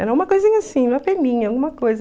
Era uma coisinha assim, uma peninha, alguma coisa.